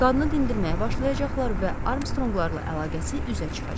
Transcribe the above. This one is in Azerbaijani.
Qadını dindirməyə başlayacaqlar və Armstronglarla əlaqəsi üzə çıxacaq.